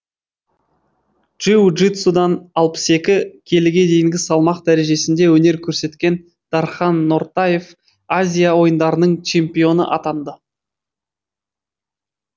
джиу джитсудан алпыс екі келіге дейінгі салмақ дәрежесінде өнер көрсеткен дархан нортаев азия ойындарының чемпионы атанды